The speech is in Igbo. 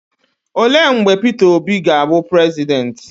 Olee mgbe Peter Obi ga-awụ prezidenti?